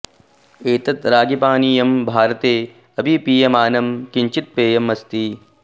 एतत् रागीपानीयं भारते अपि पीयमानं किञ्चित् पेयम् अस्ति